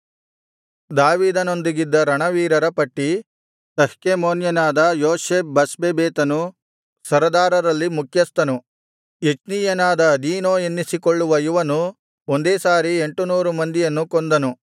ದಾವೀದನೊಂದಿಗಿದ್ದ ರಣವೀರರ ಪಟ್ಟಿ ತಹ್ಕೆಮೋನ್ಯನಾದ ಯೋಷಬ್ ಬಷ್ಬೆಬೆತನು ಸರದಾರರಲ್ಲಿ ಮುಖ್ಯಸ್ಥನು ಎಚ್ನೀಯನಾದ ಅದೀನೋ ಅನ್ನಿಸಿಕೊಳ್ಳುವ ಇವನು ಒಂದೇ ಸಾರಿ ಎಂಟುನೂರು ಮಂದಿಯನ್ನು ಕೊಂದನು